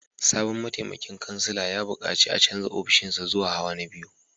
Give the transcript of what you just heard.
Sabon mataimakin kansila ya bukaci a canza ofishinsa zuwa hawa na biyu